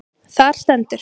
Þar stendur: